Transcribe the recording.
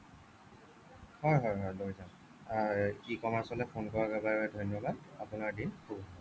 হ'য় হ'য় হ'য় লৈ যাম আহ e-commerce phone কৰাৰ বাবে ধন্য়বাদ আপোনাৰ দিন শুভ হওঁক